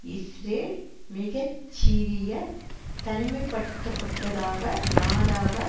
Israel மிக சிறிய தனிமைப்படுத்துப்பட்டதாக நாடாக